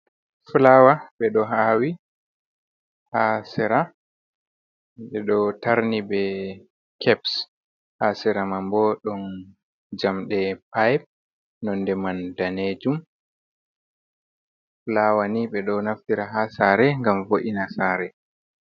Fulawa ɓeɗo awi, hasira ɓe ɗo tarni be keps, haa sera man bo ɗon jamɗe pipe nonde man danejum. Fuawa nii ɓe ɗo naftira haa saare ngam vo’ina saare.